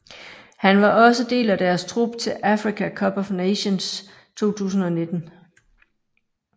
Han var også del af deres trup til Africa Cup of Nations 2019